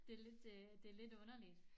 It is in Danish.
Det lidt øh det lidt underligt